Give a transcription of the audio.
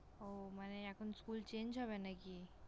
উহ মানে এখন School Change হবে নাকি?